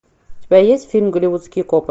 у тебя есть фильм голливудские копы